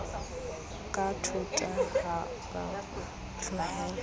ka thota ha ba tlolela